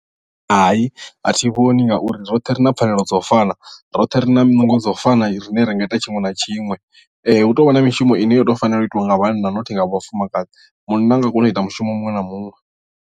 Hai a thi vhoni ngauri roṱhe ri na pfhanelo dza u fana roṱhe ri na nungo dza u fana rine ra nga ita tshiṅwe na tshiṅwe hu tou vha na mishumo ine yo to fanela u itiwa nga vhana nothi nga vhafumakadzi munna anga kona u ita mushumo muṅwe na muṅwe.